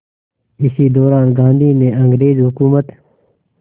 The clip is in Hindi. इसी दौरान गांधी ने अंग्रेज़ हुकूमत